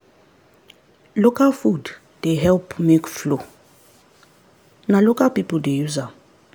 local food dey help milk flow na local people dey use am.